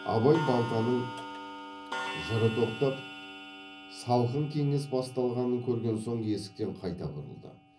абай балтаның жыры тоқтап салқын кеңес басталғанын көрген соң есіктен қайта бұрылды